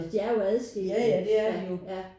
De er jo adskilte ja ja